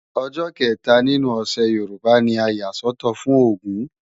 Ọjọ́ kẹta nínú ọ̀sẹ̀ Yorùbá ni a yà sọ́tọ̀ fún Ògún